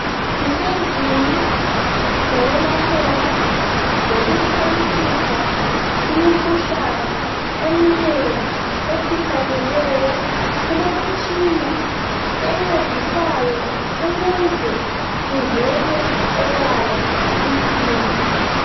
Kusendlini yokwelaphela lokuxhayisisa imikhuhlane eminengi efihlakeleyo. Kulemitshina encedisaya ukuze kuvele obala inkinga.